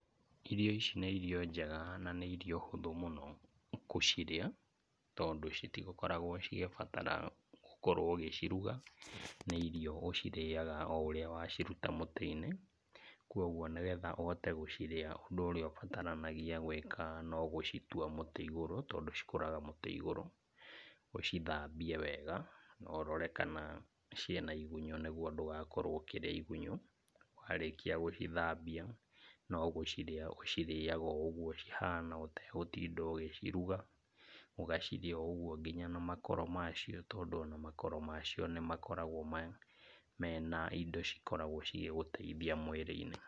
Irio ici nĩ irio njega na nĩ irio hũthũ mũno gũcirĩa, tondũ citikoragwo cigĩbatara ũkorwo ũgĩciruga, nĩ irio ũcirĩaga o ũrĩa waciruta mũtĩ-inĩ. Kwoguo nĩgetha ũhote gũcirĩa ũndũ ũrĩa ũbataranagia gwĩka no gũcitua mutĩ igũrũ, tondũ cikũraga mũtĩ igũrũ ũcithambie wega na ũrore kana ciĩna igunyũ nĩguo ndũgakorwo ũkĩrĩa igunyũ, warĩkia gũcithambia no gũcirĩa ũcirĩaga o ũguo cihana ũtegũtinda ũgĩciruga, ũgacirĩa o ũguo nginya na makoro macio tondũ ona makoro macio nĩ makoragwo mena indo cikoragwo cigĩgũteithia mwĩrĩ-inĩ.